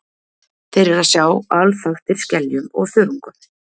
Þeir eru að sjá alþaktir skeljum og þörungum.